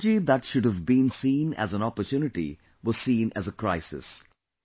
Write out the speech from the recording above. The technology that should have been seen as an opportunity was seen as a crisis